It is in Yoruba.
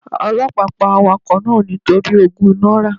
Ọlọ́pàá pa awakọ̀ náà nítorí ogún náírà.